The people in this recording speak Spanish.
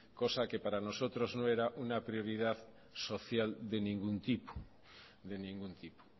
cosa que para nosotros no era una prioridad social de ningún tipo de ningún tipo